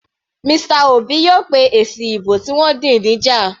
Mr Obi yóò pé èsì ìbò tí wọ́n dì níjà.